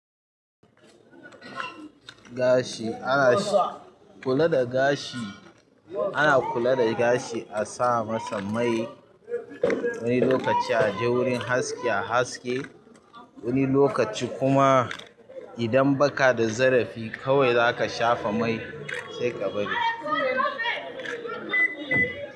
Gashi ana shi kula da gashi ana kula da gashi a sa masa ƙwai wani lokaci a je wurin haski a haske wani lokaci kuma idan baka da zarafi kawai zaka shafa mai sai ka bari.